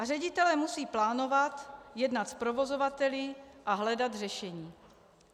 A ředitelé musí plánovat, jednat s provozovateli a hledat řešení.